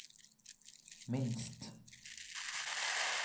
minst